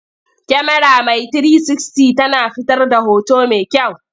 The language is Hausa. Kyamara mai 360 tana fitar da hoto mai kyau.